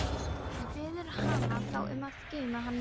Hann biður hana þá um að geyma hann vel.